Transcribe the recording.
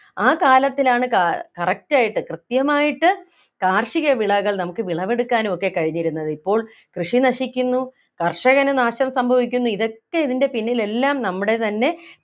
ആ കാലത്തിലാണ് കാ correct ആയിട്ട് കൃത്യമായിട്ട് കാർഷികവിളകൾ നമുക്ക് വിളവെടുക്കാനും ഒക്കെ കഴിഞ്ഞിരുന്നത് ഇപ്പോൾ കൃഷി നശിക്കുന്നു കർഷകന് നാശം സംഭവിക്കുന്നു ഇതൊക്കെ ഇതിൻ്റെ പിന്നിലെല്ലാം നമ്മുടെ തന്നെ